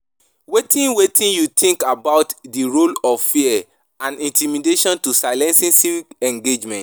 wetin wetin you think about di role of fear and intimidation to silencing civic engagement?